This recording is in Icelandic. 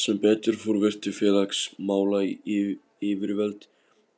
Sem betur fór virtu félagsmálayfirvöld